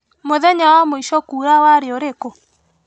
Mũthenya wa mũico kuura warĩ ũrĩkũ?